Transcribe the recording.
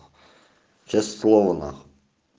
честное слово нахуй